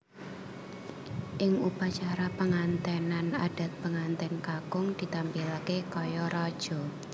Ing upacara pengantènan adat pengantèn kakung ditampilaké kaya raja